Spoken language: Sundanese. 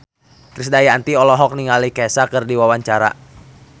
Krisdayanti olohok ningali Kesha keur diwawancara